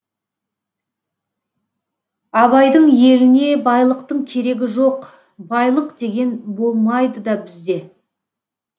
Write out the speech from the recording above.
абайдың еліне байлықтың керегі жоқ байлық деген болмайды да бізде